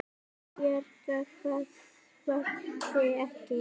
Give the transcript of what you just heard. Byrja hvað svaraði ég.